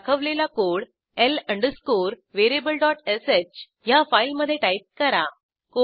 दाखवलेला code l अंडरस्कोरvariablesh ह्या फाईलमधे टाईप करा